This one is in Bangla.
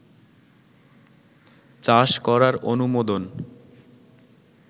চাষ করার অনুমোদন